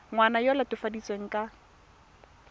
ngwana yo o latofadiwang ka